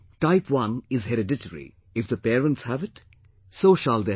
Type 1 is hereditary; if the parents have it, so shall their child